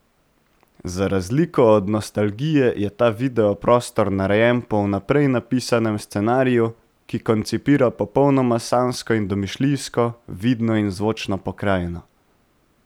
Za razliko od Nostalgije je ta video prostor narejen po vnaprej napisanem scenariju, ki koncipira popolnoma sanjsko in domišljijsko, vidno in zvočno pokrajino.